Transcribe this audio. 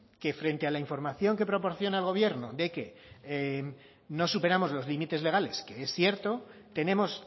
que frente a la información que proporciona el gobierno de que no superamos los límites legales que es cierto tenemos